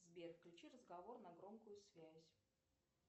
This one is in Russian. сбер включи разговор на громкую связь